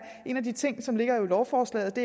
en af de ting som ligger i lovforslaget